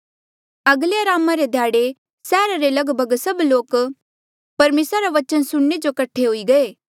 अगले अरामा रे ध्याड़े सैहरा रे लगभग सभ लोक परमेसरा रा बचन सुणने जो कठे हुई गये